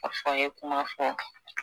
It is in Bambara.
A fɔ a ye kuma fɔ